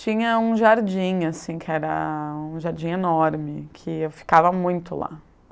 Tinha um jardim, assim, que era um jardim enorme, que eu ficava muito lá.